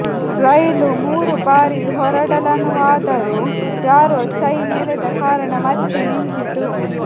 ರೈಲು ಮೂರು ಬಾರಿ ಹೊರಡಲನುವಾದರೂ ಯಾರೋ ಚೈನ್ ಎಳೆದ ಕಾರಣ ಮತ್ತೆ ನಿಂತಿತು